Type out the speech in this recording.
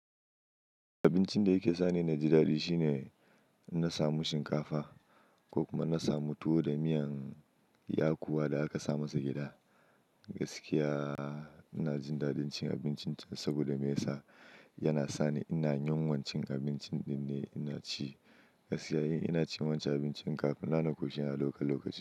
Abincin da yake sa ni na ji daɗi shine na samu shinkafa ko kuma na samu tuwo da miyan yakuwa da aka sa masa gyaɗa. Gaskiya ina jin daɗin cin abincin saboda me yasa? Yana sa ni ina yin wancan abincin din ne ina ci. Gaskiya in ina cin wancan abincin kafin na naƙo shi a lokutan lokaci.